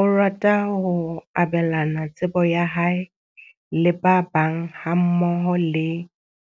O rata ho abelana tsebo ya hae le ba bang hammoho le